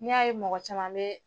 N'i y'a ye mɔgɔ caman bɛ